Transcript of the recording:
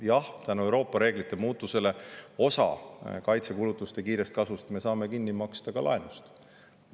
Jah, tänu Euroopa reeglite muutmisele me saame osa kaitsekulutuste kiirest kasvust kinni maksta laenuga.